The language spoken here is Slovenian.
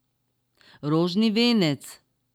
Rožni venec.